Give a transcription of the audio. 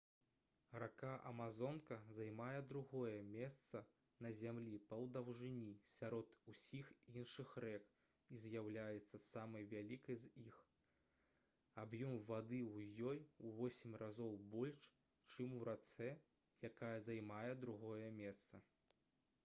рака амазонка займае другое месца на зямлі па даўжыні сярод усіх іншых рэк і з'яўляецца самай вялікай з іх аб'ём вады ў ёй у 8 разоў больш чым у рацэ якая займае другое месца